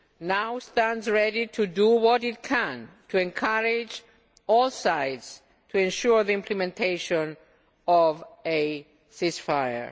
The EU now stands ready to do what it can to encourage all sides to ensure the implementation of a ceasefire.